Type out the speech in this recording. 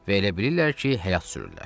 Və elə bilirlər ki, həyat sürürlər.